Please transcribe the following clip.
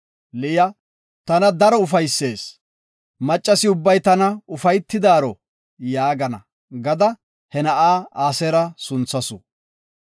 Liya, “Tana daro ufaysees; maccasi ubbay tana ufaytiyaro gaana” gada he na7a Aseera gada sunthasu.